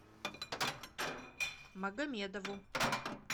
магомедову